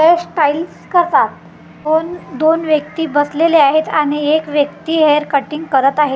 Hairstyles करतात कोण दोन व्यक्ती बसलेले आहेत आणि एक व्यक्ती हेअर कटिंग करत आहे .